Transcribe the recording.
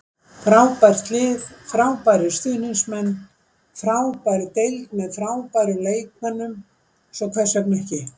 Frábært lið, frábærir stuðningsmenn, frábær deild með frábærum leikmönnum- svo hvers vegna ekki?